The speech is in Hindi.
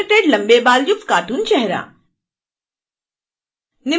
एनीमेटेड लंबे बाल युक्त कार्टून चेहरा